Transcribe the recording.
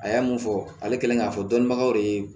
A ye mun fɔ ale kɛlen k'a fɔ dɔni bagaw de ye